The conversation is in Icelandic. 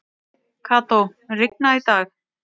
Kató, mun rigna í dag?